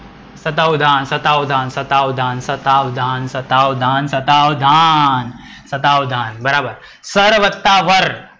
સતાવધાન, સતાવધાન, સતાવધાન, સતાવધાન, સતાવધાન, સતાવધાન બરાબર. સર વત્તા વર.